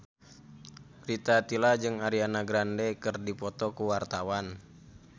Rita Tila jeung Ariana Grande keur dipoto ku wartawan